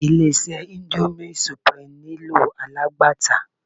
Ilé-iṣẹ́ índómì sùprímù nílò alágbàtà.